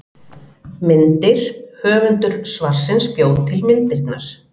Myndir: Höfundur svarsins bjó til myndirnar.